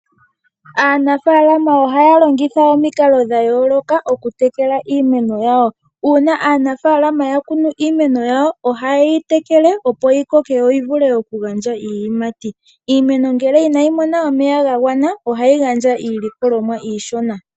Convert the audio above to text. Aanafalama ohaya longitha omikalo dha yooloka okutekela iimeno yawo. Uuna aanafalama yakunu iimeno yawo ohayeyi tekele opo yi koke yoyi vule okugandja iiyimati. Iimeno ngele inayi mona omeya ga gwana ohayi gandja iilikolomwa iishona.